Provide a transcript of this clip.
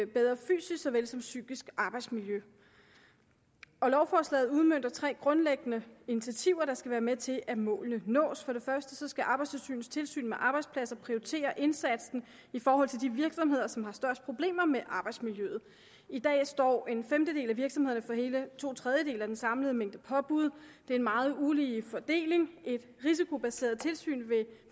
bedre fysisk såvel som psykisk arbejdsmiljø lovforslaget udmønter tre grundlæggende initiativer der skal være med til at målene nås for det første skal arbejdstilsynets tilsyn med arbejdspladser prioritere indsatsen i forhold til de virksomheder som har de største problemer med arbejdsmiljøet i dag står en femtedel af virksomhederne for hele to tredjedele af den samlede mængde påbud det er en meget ulige fordeling og et risikobaseret tilsyn vil